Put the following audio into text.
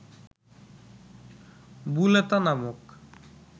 বুলেতা নামক